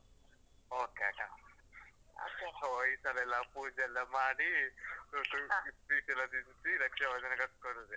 Okay ಅಕ್ಕ. So ಈ ಸಲ ಎಲ್ಲಾ ಪೂಜೆ ಎಲ್ಲಾ ಮಾಡಿ, so ಸು sweet ಎಲ್ಲ ತಿನ್ಸಿ ರಕ್ಷಾಬಂಧನ ಕಟ್ಕೊಳ್ಳುದೇ.